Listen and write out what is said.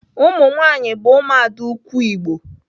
Umunwanyi bu umuada ukwu Igbo.